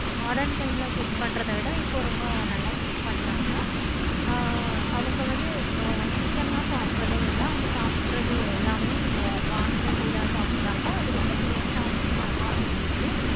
time ல cook பண்றத விட இப்ப ரொம்ப ரொம்ப நல்லாவே cook பன்றாங்க. ஆஹ் அவங்க வந்து chicken லாம் சாப்பிடுறதே இல்லை. அவங்க சாப்பிடுறது எல்லாமே வான் கோழி தான் சாப்பிடுறாங்க. அது ரொம்ப taste ஆஹ் உ நல்லாவும் இருந்துச்சி.